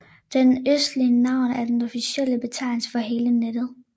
Den østlige navn er den officielle betegnelse for hele nettet